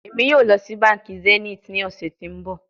Emi yoo lọ si banki zenith ni ọsẹ ti n bọ